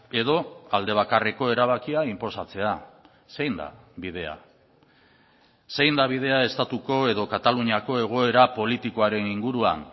edo aldebakarreko erabakia inposatzea zein da bidea zein da bidea estatuko edo kataluniako egoera politikoaren inguruan